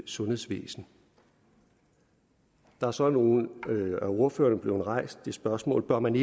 sundhedsvæsen der er så af nogle af ordførerne blevet rejst det spørgsmål bør man